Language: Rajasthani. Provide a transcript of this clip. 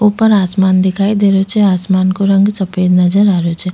ऊपर आसमान दिखाई दे रेहो छे आसमान को रंग सफ़ेद नजर आ रेहो छे।